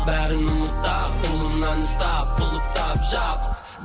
бәрін ұмыт та қолымнан ұстап құлыптап жап